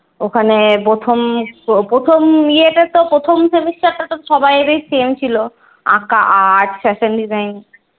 ওখানে প্রথম প্রথম ইয়েতে তো প্রথম semester টা তো সবাইরই same ছিল। আঁকা art fashion design.